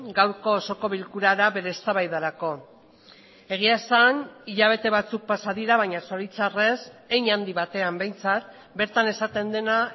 gaurko osoko bilkura da bere eztabaidarako egia esan hilabete batzuk pasa dira baina zoritxarrez hein handi batean behintzat bertan esaten dena